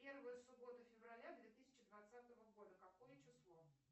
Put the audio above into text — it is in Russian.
первая суббота февраля две тысячи двадцатого года какое число